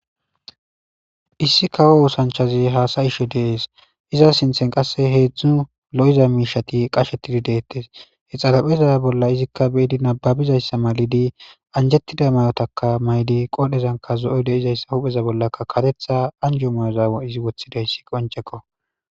Issi kawo osanich dizays hasayshe de'es iza sinthan qasi hezu lo'iza mishati qashetide'es xaripheza bolla izika bezi nababizaysa malatidi anijetida mayotaka ma'di qodhezanika zo'oy deizaysa hupheza bollaka karetha anjo ma'oza izi wothizays qoniceko